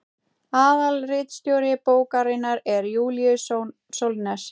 aðalritstjóri bókarinnar er júlíus sólnes